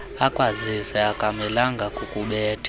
akwazise akamelanga kukubetha